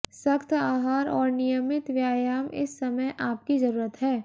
सख्त आहार और नियमित व्यायाम इस समय आपकी जरुरत है